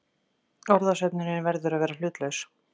Orðasöfnunin verður að vera hlutlaus.